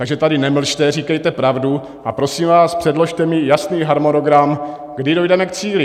Takže tady nemlžte, říkejte pravdu, a prosím vás, předložte mi jasný harmonogram, kdy dojdeme k cíli.